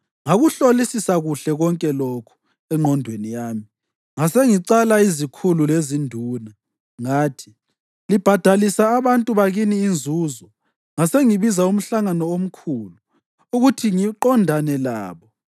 Ngakuhlolisisa kuhle konke lokhu engqondweni yami ngasengicala izikhulu lezinduna. Ngathi, “Libhadalisa abantu bakini inzuzo!” Ngasengibiza umhlangano omkhulu ukuthi ngiqondane labo,